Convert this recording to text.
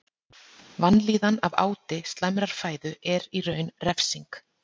Vanlíðan af áti slæmrar fæðu er í raun refsing.